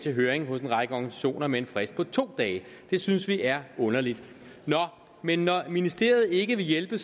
i høring hos en række organisationer med en frist på to dage det synes vi er underligt nå men når ministeriet ikke vil hjælpe